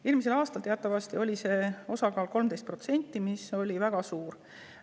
Eelmisel aastal teatavasti oli osakaal 13%, see oli väga suur.